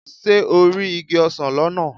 Ṣé o rí igi ọsán lọ́nà?